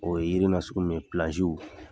O ye yiri nasugu min ye